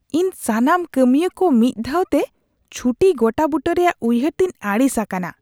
ᱤᱧ ᱥᱟᱱᱟᱢ ᱠᱟᱹᱢᱤᱭᱟᱹ ᱠᱚ ᱢᱤᱫ ᱫᱷᱟᱣ ᱛᱮ ᱪᱷᱩᱴᱤ ᱜᱚᱴᱟᱵᱩᱴᱟᱹ ᱨᱮᱭᱟᱜ ᱩᱭᱦᱟᱹᱨ ᱛᱮᱧ ᱟᱹᱲᱤᱥ ᱟᱠᱟᱱᱟ ᱾